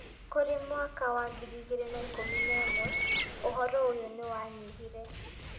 Kũrĩ mwaka wa 2011, ũhũro ũyũ ni wanyihire.